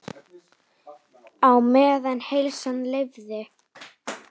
Á meðan heilsan leyfði.